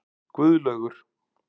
Guðlaugur